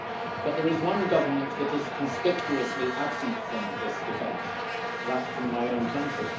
But there is one government that is conspicuously absent from this debate that from my own country.